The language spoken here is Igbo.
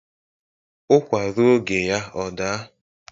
Ụkwạ ruo oge ya ọ daa.